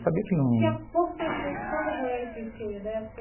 Sabia que não... Tinha pouco conhecimento sobre a doença em si, né.